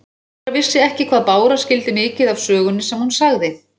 Dóra vissi ekki hvað Bára skildi mikið af sögunni sem hún sagði.